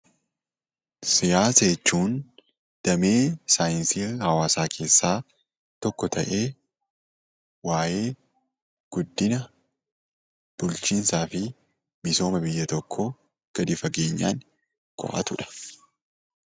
Siyaasa jechuun damee saayinsii hawaasaa keessaa tokko ta'ee waa'ee guddina bulchiinsaafi misooma biyya tokkoo gadi fageenyaan qo'atudha.